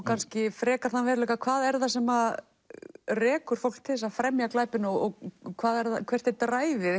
kannski frekar þann veruleika hvað er það sem rekur fólkið til þess að fremja glæpina og hvert er